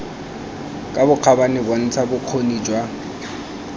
ka bokgabane bontsha bokgoni jwa